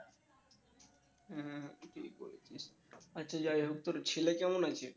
হ্যাঁ ঠিকই বলছিস আচ্ছা যাই হোক তোর ছেলে কেমন আছে?